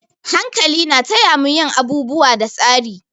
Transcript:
Hankali na taya mu yin abubuwa da tsari.